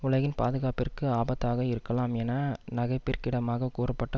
உலகின் பாதுகாப்பிற்கு ஆபத்தாக இருக்கலாம் என நகைப்பிற்கிடமாக கூறப்பட்ட